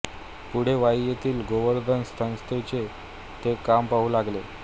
पुढे वाई येथील गोवर्धन संस्थेचे ते काम पाहू लागले